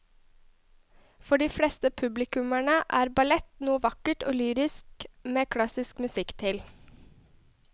For de fleste publikummere er ballett noe vakkert og lyrisk med klassisk musikk til.